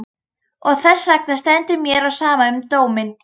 Og þessvegna stendur mér á sama um dóminn.